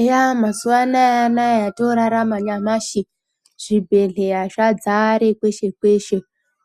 Eya mazuwa anaya anaya otorarama nyamashi zvibhedhleya zvadzare kweshe kweshe.